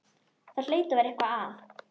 Það hlaut að vera eitthvað að.